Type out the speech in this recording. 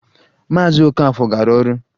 Maazị Okafor gara ọrụ